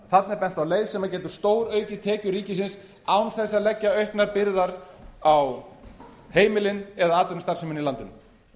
þarna er bent á leið sem getur stóraukið tekjur ríkisins án þess að leggja auknar byrðar á heimilin eða atvinnustarfsemina í landinu